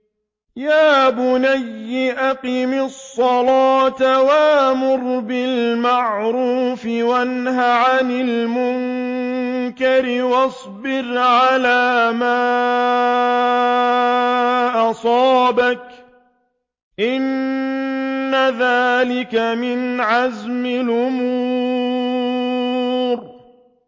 يَا بُنَيَّ أَقِمِ الصَّلَاةَ وَأْمُرْ بِالْمَعْرُوفِ وَانْهَ عَنِ الْمُنكَرِ وَاصْبِرْ عَلَىٰ مَا أَصَابَكَ ۖ إِنَّ ذَٰلِكَ مِنْ عَزْمِ الْأُمُورِ